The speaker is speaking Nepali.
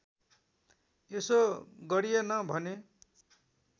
यसो गरिएन भने